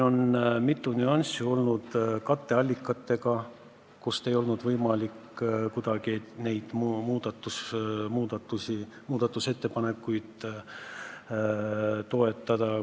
Mitu nüanssi oli seotud katteallikatega, mille tõttu ei olnud kuidagi võimalik neid muudatusettepanekuid toetada.